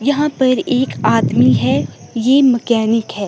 यहाँ पर एक आदमी हैं। ये मकॅनिक हैं।